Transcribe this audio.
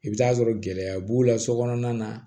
I bɛ t'a sɔrɔ gɛlɛya b'u la so kɔnɔna na